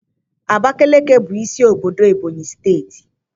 Abakeleke bụ isi obodo ebonyị steeti.